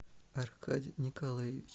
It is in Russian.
аркадий николаевич